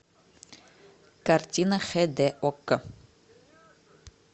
картина хд окко